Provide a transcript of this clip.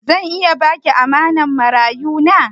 Zan iya ba ki amanan marayu na?